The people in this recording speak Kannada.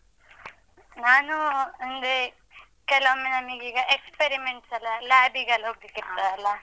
ನಾನೂ ಅಂದ್ರೆ ಕೆಲವೊಮ್ಮೆ ನನಗೀಗ experiments ಎಲ್ಲ lab ಗೆಲ್ಲ ಹೋಗ್ತಿರ್ತೀವಲ್ಲ?